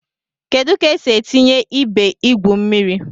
Kedu ka esi etinye ebe igwu mmiri?